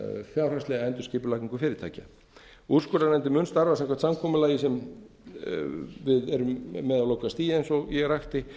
fjárhagslega endurskipulagningu fyrirtækja úrskurðarnefndin mun starfa samkvæmt samkomulagi sem við erum með á lokastigi eins og ég rakti